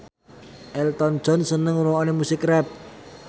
Elton John seneng ngrungokne musik rap